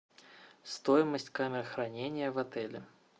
стоимость камер хранения в отеле